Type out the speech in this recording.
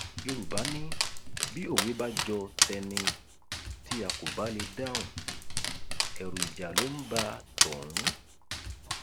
yorùbá ni bí òwe bá jọ tẹni tí a kò bá lè dáhùn erù ìjà ló ń bá tọhún